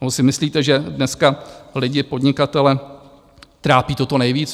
Nebo si myslíte, že dneska lidi, podnikatele trápí toto nejvíc?